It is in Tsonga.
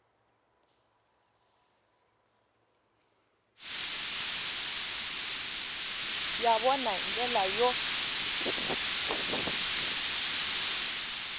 ya vona hi ndlela yo